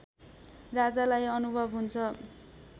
राजालाई अनुभव हुन्छ